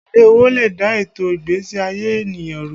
Èlé owó lè dà ètò ìgbésí ayé ènìyàn rú